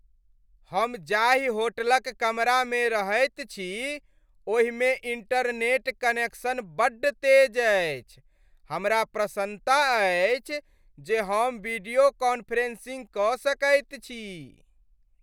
हम जाहि होटलक कमरामे रहैत छी ओहिमे इंटरनेट कनेक्शन बड्ड तेज अछि। हमरा प्रसन्नता अछि जे हम वीडियो कॉन्फ्रेंसिंग कऽ सकैत छी।